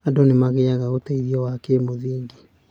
Andũ nĩ magĩaga ũteithio wa kĩmũthingi.